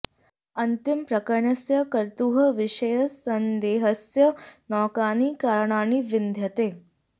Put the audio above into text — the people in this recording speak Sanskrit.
अन्तिम प्रकणस्य कर्तुः विषये सन्देहस्य नौकानि काराणानि विद्यन्ते